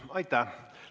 Aitäh!